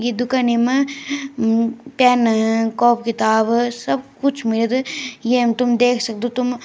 ई दुकनी मा म-म पेन कोपी किताब सब कुछ मिल्द येम तुम देख सक्दो तुम।